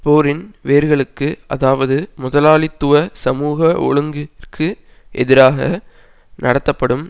போரின் வேர்களுக்கு அதாவது முதலாளித்துவ சமூக ஒழுங்கிற்கு எதிராக நடத்தப்படும்